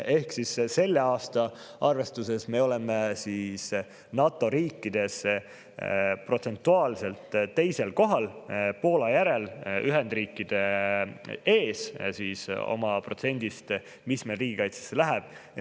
Ehk selle aasta arvestuses me oleme NATO riikide seas teisel kohal Poola järel ja Ühendriikide ees oma protsendiga, mis meil riigikaitsesse läheb.